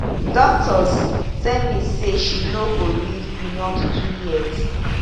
doctors tell me say she no go live beyond two years